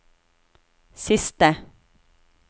siste